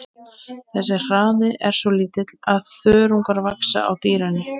Þessi hraði er svo lítill að þörungar vaxa á dýrinu.